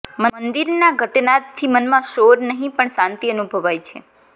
મંદિરના ઘંટનાદથી મનમાં શોર નહીં પણ શાંતિ અનુભવાય છે